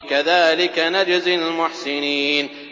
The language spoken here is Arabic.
كَذَٰلِكَ نَجْزِي الْمُحْسِنِينَ